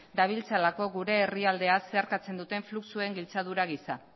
dabiltzalako gure herrialdea zeharkatzen duten fluxuen giltzadura gisa